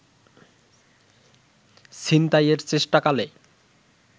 ছিনতাইয়ের চেষ্টাকালে